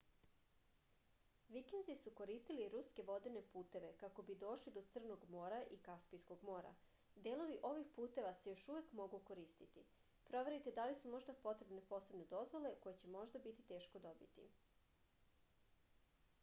vikinzi su koristili ruske vodene puteve kako bi došli do crnog mora i kaspijskog mora delovi ovih puteva se još uvek mogu koristiti proverite da li su možda potrebne posebne dozvole koje će možda biti teško dobiti